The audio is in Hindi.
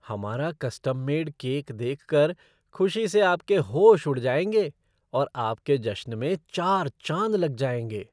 हमारा कस्टम मेड केक देखकर खुशी से आपके होश उड़ जाएंगे और आपके जश्न में चार चांद लग जाएंगे।